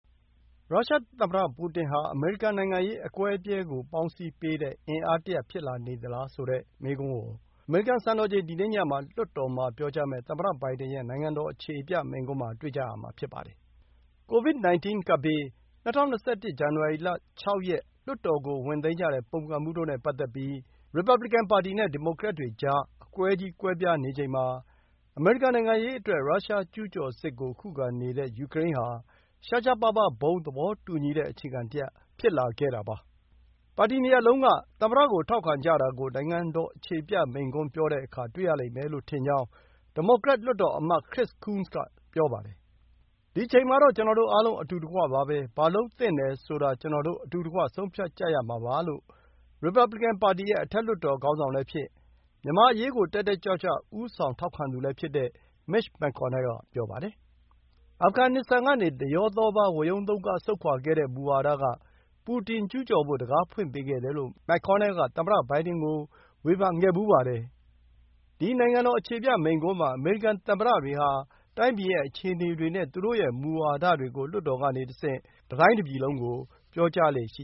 ရုရှားသမ္မတပူတင်ဟာ အမေရိကန်နိုင်ငံရေး အကွဲအပြဲကို ပေါင်းစည်းပေးတဲ့ အားတရပ်ဖြစ်လာနေသလား ဆိုတဲ့မေးခွန်းကို အမေရိကန်စံတော်ချိန် ဒီနေ့ညမှာ လွှတ်တော်မှာ ပြောကြားမယ့် သမ္မတဘိုင်ဒင်ရဲ့ နိုင်ငံတော် အခြေပြမိန့်ခွန်းမှာ တွေ့ကြရမှာ ဖြစ်ပါတယ်။ ကိုဗစ် 19 ကပ်ဘေး၊ ၂၀၂၁ ဇန်နဝါရီလ ၆ ရက် လွှတ်တော်ကို ဝင်သိမ်းကြတဲ့ ပုန်ကန်မှုတို့နဲ့ပတ်သက်ပြီး ရီပါဘလီကန်နဲ့ ဒီမိုကရက်တွေကြား အကွဲကြီးကွဲပြားနေချိန်မှာ အမေရိကန်နိုင်ငံရေးအတွက် ရုရှားကျူးကျော်စစ်ကိုခုခံနေတဲ့ ယူကရိန်းဟာ ရှားရှားပါးပါး ဘုံသဘောတူညီတဲ့ အခြေခံတရပ် ဖြစ်လာခဲ့တာပါ။ ပါတီ ၂ ခုလုံးက သမ္မတကို ထောက်ခံကြတာကို နိုင်ငံတော်အခြေပြမိန့်ခွန်း ပြောတဲ့အခါ တွေ့ရလိမ့်မယ်လို့ထင်ကြောင်း ဒီမိုကရက် အထက်လွှတ်တော်အမတ် Chris Coons က ဆိုပါတယ်။ “ဒီအချိန်မှာတော့ ကျနော်တို့အားလုံး အတူတကွပါပဲ။ ဘာလုပ်သင့်တယ်ဆိုတာ ကျနော်တို့ အတူတကွ ဆုံးဖြတ်ကြရမှာပါ” လို့ ရီပါဘလီကန်ပါတီရဲ့ အထက်လွှတ်တော် ခေါင်းဆောင်လည်းဖြစ်၊ မြန်မာအရေးကို တက်တက်ကြွကြွ ဦးဆောင် ထောက်ခံသူလည်း ဖြစ်တဲ့ Mitch McConnell က ပြောပါတယ်။ အာဖဂန်နစ္စတန်ကနေ ဒရောသောပါး ဝရုန်းသုန်းကား ဆုတ်ခွါခဲ့တဲ့ မူဝါဒက ပူတင် ကျူးကျော်ဖို့ တံခါးဖွင့်ပေးခဲ့တယ်လို့ McConnell က သမ္မတဘိုင်ဒင်ကို ဝေဖန်ခဲ့ဖူးပါတယ်။ ဒီ နိုင်ငံတော်အခြေပြမိန့်ခွန်းမှာ အမေရိကန်သမ္မတတွေဟာ တိုင်းပြည်ရဲ့ အခြေအနေတွေနဲ့ သူတို့ရဲ့မူဝါဒတွေကို လွှတ်တော်ကနေတဆင့် တတိုင်းတပြည်လုံး ကို ပြောကြားလေ့ရှိ